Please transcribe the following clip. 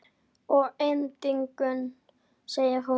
Að endingu segir hún